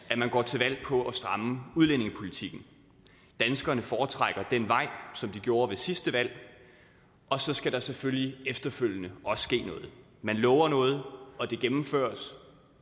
at man går til valg på at stramme udlændingepolitikken danskerne foretrækker den vej som de gjorde ved sidste valg og så skal der selvfølgelig efterfølgende også ske noget man lover noget og det gennemføres